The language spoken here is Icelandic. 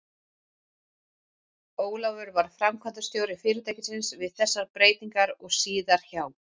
Ólafur varð framkvæmdastjóri fyrirtækisins við þessar breytingar og síðar hjá